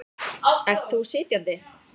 Ert þú sitjandi?